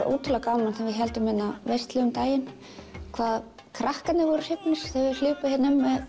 ótrúlega gaman þegar við héldum veislu um daginn hvað krakkarnir voru hrifnir þau hlupu hér um